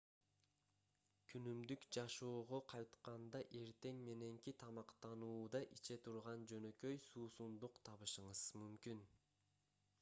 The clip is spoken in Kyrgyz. күнүмдүк жашоого кайтканда эртең мененки тамактануууда иче турган жөнөкөй суусундук табышыңыз мүмкүн